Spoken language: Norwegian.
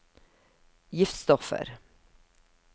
giftstoffer